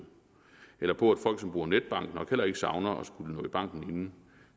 eller på at folk som bruger netbank nok heller ikke savner at skulle nå i banken inden